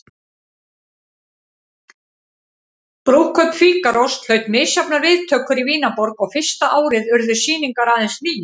Brúðkaup Fígarós hlaut misjafnar viðtökur í Vínarborg og fyrsta árið urðu sýningar aðeins níu.